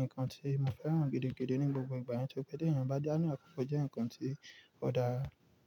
nǹkan tí mo fẹ́ràn gidigidi ní gbogbo ìgbà. Torí pẹ́ tẹ̀yàn bá dé ní àkókò ọ jẹ́ nǹkan tí ó dáa.